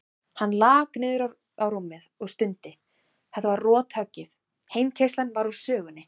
Hann lak niður á rúmið og stundi, þetta var rothöggið, heimkeyrslan var úr sögunni.